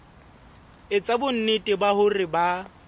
etsa bonnete ba hore ba